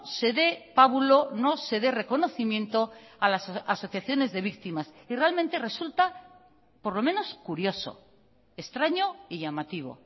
se dé pábulo no se dé reconocimiento a las asociaciones de víctimas y realmente resulta por lo menos curioso extraño y llamativo